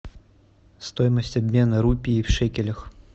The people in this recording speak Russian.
стоимость обмена рупии в шекелях